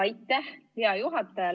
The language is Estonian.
Aitäh, hea juhataja!